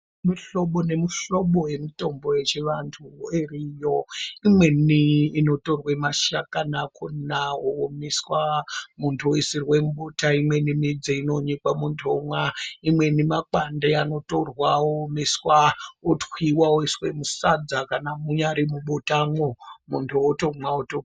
Muhlobo nemuhlobo yemitombo yechivantu iriyo. Imweni inotorwa mashakani akona oomeswa muntu oisirwe mumota, imweni midzi inonyikwa muntu omwa, imweni makwande anotorwa oomeswa otwiwa oiswe musadza kana munyari mwubotamwo muntu otomwa oto...